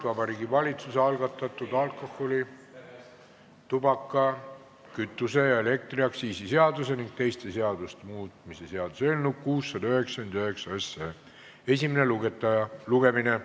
Vabariigi Valitsuse algatatud alkoholi-, tubaka-, kütuse- ja elektriaktsiisi seaduse ning teiste seaduste muutmise seaduse eelnõu 699 esimene lugemine.